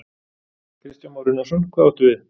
Kristján Már Unnarsson: Hvað áttu við?